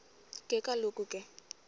ke kaloku ke